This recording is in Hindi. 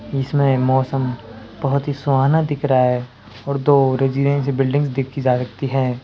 इसमें मौसम बहोत ही सुहाना दिख रहा है और दो रेजिडेंसी बिल्डिंग देखी जा सकती है।